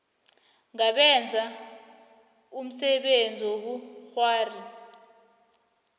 ngabenza umsebenzi wobukghwari